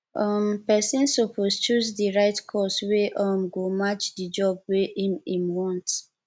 um persin suppose choose di right course wey um go match di job wey im im want